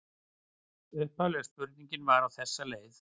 Upphaflega spurningin var á þessa leið: